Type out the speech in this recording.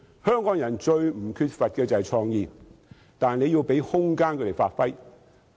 香港人最不缺乏的是創意，但要給予他們發揮的空間。